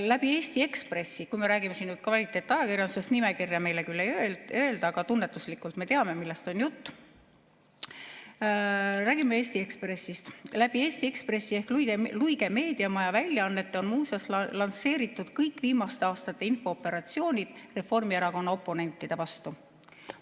Läbi Eesti Ekspressi – kui me räägime siin kvaliteetajakirjandusest, nimekirja meile küll ei antud, aga tunnetuslikult me teame, millest on jutt, räägime Eesti Ekspressist – ehk Luige meediamaja väljaannete on lansseeritud muuseas kõik viimaste aastate infooperatsioonid Reformierakonna oponentide vastu.